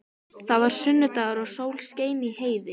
Það var sunnudagur og sól skein í heiði.